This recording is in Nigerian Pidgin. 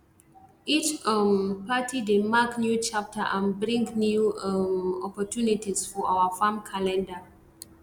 each um party dey mark new chapter and bring new um opportunities for our farm calender